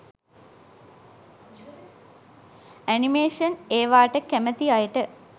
animation ඒවට කැමති අයට